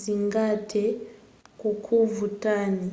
zingathe kukuvutani